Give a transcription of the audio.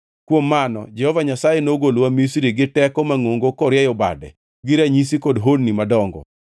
Kuom mano Jehova Nyasaye nogolowa Misri giteko mangʼongo korieyo bade, gi ranyisi kod honni madongo.